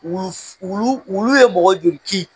Wulu wulu ye mɔgɔ joli kin?